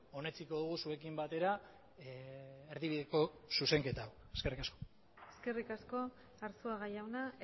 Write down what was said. onetsiko dugu zuekin batera erdibideko zuzenketa eskerrik asko eskerrik asko arzuaga jauna